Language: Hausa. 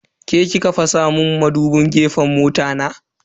Ke ki ka fasa mun madubin gefen mota na?